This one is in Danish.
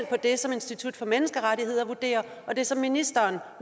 på det som institut for menneskerettigheder vurderer og det som ministeren